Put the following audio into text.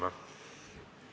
Istungi lõpp kell 16.46.